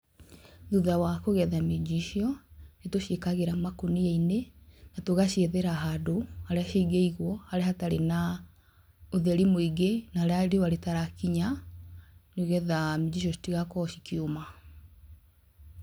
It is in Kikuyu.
Thutha wa kũgetha minji icio, nĩ tũciĩkagĩra makũnia-inĩ tũgaciethera handũ harĩa cingĩigwo harĩa hatarĩ na ũtheri mũingĩ na harĩa riũa rĩtarakinya nĩ getha minji icio citigakorwo cikĩũma.